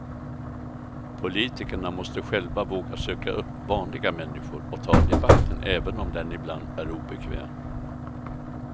Politikerna måste själva våga söka upp vanliga människor och ta debatten även om den ibland är obekväm.